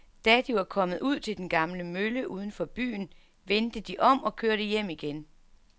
Da de var kommet ud til den gamle mølle uden for byen, vendte de om og kørte hjem igen.